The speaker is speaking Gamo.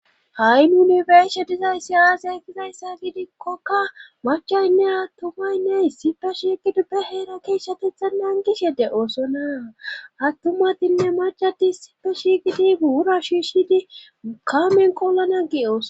ha7i nunibershe dizayssi aase kizayssa giidikkokka machaynne attumaynne issife shigiduppe heera keeshshatetha nangishede oosona attumadinne macadis sipe shiygidi buura shiishshidi kaamen kolana giyoos